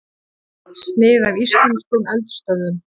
Snið af íslenskum eldstöðvum.